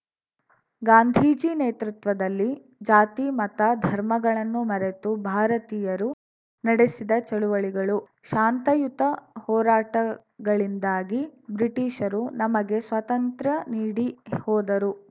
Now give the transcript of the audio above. ಗಾಂಧೀಜಿ ನೇತೃತ್ವದಲ್ಲಿ ಜಾತಿ ಮತ ಧರ್ಮಗಳನ್ನು ಮರೆತು ಭಾರತೀಯರು ನಡೆಸಿದ ಚಳವಳಿಗಳು ಶಾಂತಯುತ ಹೋರಾಟಗಳಿಂದಾಗಿ ಬ್ರಿಟಿಷರು ನಮಗೆ ಸ್ವತಂತ್ರ್ಯ ನೀಡಿ ಹೋದರು